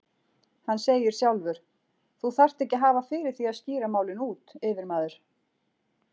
Hann segir sjálfur: Þú þarft ekki að hafa fyrir því að skýra málin út, yfirmaður.